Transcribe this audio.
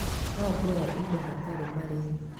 No ngũhe indo hatarĩ marĩhi